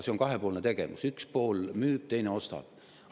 See on kahepoolne tegevus: üks pool müüb, teine ostab.